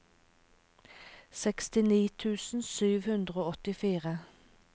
sekstini tusen sju hundre og åttifire